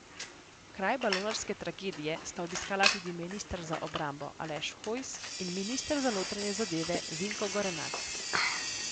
Kraj balonarske tragedije sta obiskala tudi minister za obrambo Aleš Hojs in minister za notranje zadeve Vinko Gorenak.